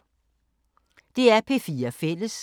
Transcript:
DR P4 Fælles